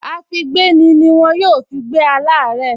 Àfígbéni ni wọ́n yóò fi gbé aláàárẹ̀